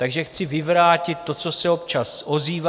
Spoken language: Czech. Takže chci vyvrátit to, co se občas ozývá.